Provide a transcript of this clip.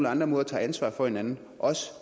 andre måder tager ansvar for hinanden også